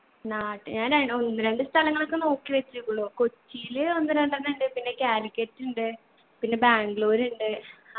നാട്ട് ഞാൻ ര ഒന്ന് രണ്ട്‌ സ്ഥലങ്ങളൊക്ക നോക്കി വച്ചൂക്കുണു കൊച്ചിയില് ഒന്ന് രണ്ടെണ്ണം ഇണ്ട് പിന്നെ കാലിക്കറ്റ് ഇണ്ട് പിന്നെ ബാംഗ്ളൂർ ഇണ്ട്